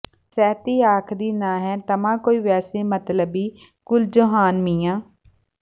ਸਹਿਤੀ ਆਖਦੀ ਨਾ ਹੈ ਤਮਾ ਕੋਈ ਵੈਸੇ ਮਤਲਬੀ ਕੁਲ ਜਹਾਨ ਮੀਆਂ